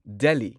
Delhi